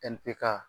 Npɛ ka